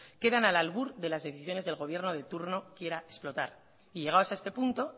quedan al albur de las decisiones que el gobierno de turno quiera explotar y llegados a este punto